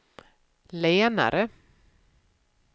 lenare